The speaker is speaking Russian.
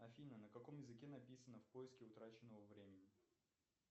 афина на каком языке написано в поиске утраченного времени